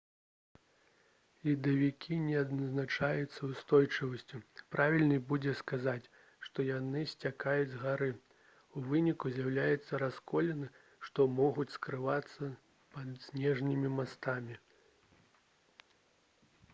ледавікі не адзначаюцца ўстойлівасцю правільней будзе сказаць што яны сцякаюць з гары у выніку з'яўляюцца расколіны што могуць скрывацца пад снежнымі мастамі